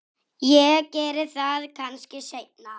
Ég geri það kannski seinna.